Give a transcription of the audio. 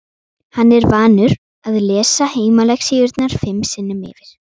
Hann er vanur að lesa heimalexíurnar fimm sinnum yfir.